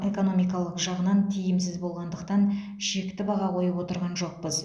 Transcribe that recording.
экономикалық жағынан тиімсіз болғандықтан шекті баға қойып отырған жоқпыз